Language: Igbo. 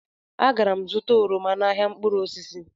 Agara m zụta oroma n'ahịa mkpụrụ osisi